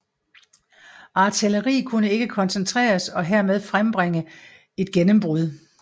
Artilleri kunne ikke koncentreres og hermed frembringe et gennembrud